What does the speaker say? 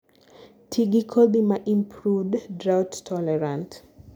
tii gi kodhi ma improved drought tolerant